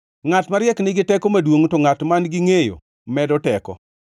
Ngʼat mariek nigi teko maduongʼ; to ngʼat man-gi ngʼeyo medo teko;